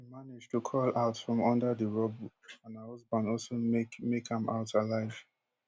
she manage to crawl out from under di rubble and her husband also make make am out alive